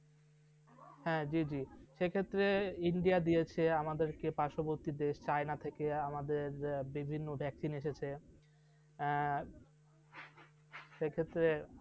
হ্যাঁ, জী জী। সেক্ষেত্রে India দিয়েছে আমাদেরকে পার্শ্ববর্তী দেশ চায়না থেকে আমাদের বিভিন্ন vaccine এসেছে। আহ সেক্ষেত্রে